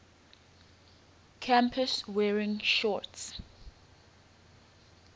campus wearing shorts